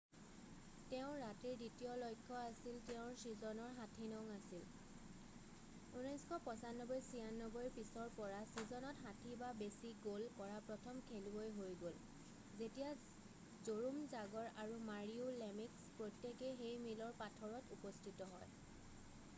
তেওঁৰ ৰাতিৰ দ্বিতীয় লক্ষ্য তেওঁৰ চিজনৰ 60নং আছিল 1995-96ৰ পিছৰ পৰা চিজনত 60 বা বেছি গ'ল কৰা প্ৰথম খেলুৱৈ হৈ গ'ল যেতিয়া জৰোম জাগৰ আৰু মাৰীও লেমিক্স প্ৰত্যেকেই সেই মিলৰ পাথৰত উপস্থিত হয়।